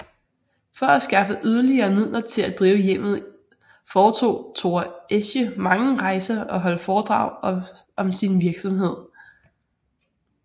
For at skaffe yderligere midler til at drive hjemmet foretog Thora Esche mange rejser og holdt foredrag om sin virksomhed